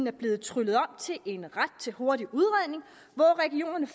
er blevet tryllet om til en ret til hurtig udredning